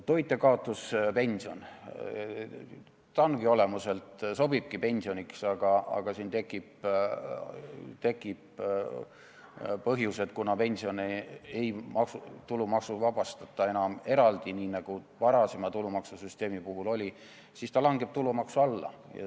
Toitjakaotuspension olemuselt sobibki pensioniks, aga siin tekib see asi, et kuna pensioni enam eraldi tulumaksust ei vabastata, nii nagu varasema tulumaksusüsteemi puhul oli, siis ta langeb tulumaksu alla.